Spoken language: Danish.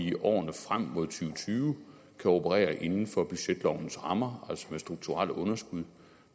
i årene frem mod og tyve kan operere inden for budgetlovens rammer altså med strukturelle underskud